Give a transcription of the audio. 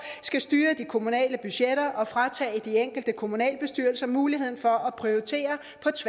skal styre de kommunale budgetter og fratage de enkelte kommunalbestyrelser muligheden for at prioritere